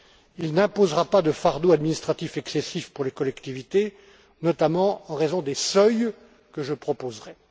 Il n'imposera pas de fardeau administratif excessif pour les collectivités, notamment en raison des seuils que je proposerai.